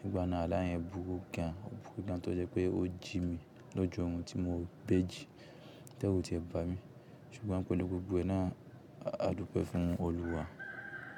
Nígbà náà alá yẹn bùrú gan, o bùrú gan tó jẹ́ pé ó jí mi lójú orun tí mo béjì ti ẹru tí ẹ bá mi. Ṣùgbọ́n pélu gbogbo ẹ náà á dúpẹ́ fún Olúwa.